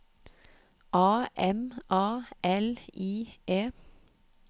A M A L I E